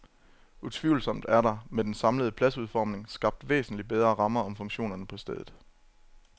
Utvivlsomt er der, med den samlede pladsudformning, skabt væsentlig bedre rammer om funktionerne på stedet.